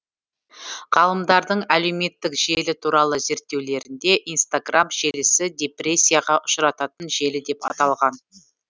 ғалымдардың әлеуметтік желі туралы зерттеулерінде инстаграм желісі депрессияға ұшырататын желі деп аталған